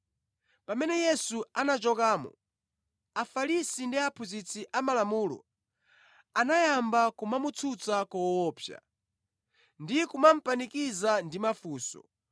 Pamene Yesu anachokamo, Afarisi ndi aphunzitsi a Malamulo anayamba kumamutsutsa koopsa ndi kumupanikiza ndi mafunso,